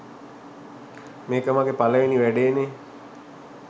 මේක මගේ පළවෙනි වැඩේනේ